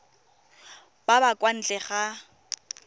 ba ba kwa ntle ga